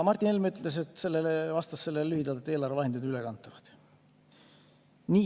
Martin Helme ütles selle peale lühidalt, et eelarvevahendid on ülekantavad.